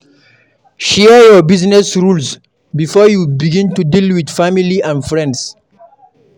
Share your business rules before you begin to deal with family and friends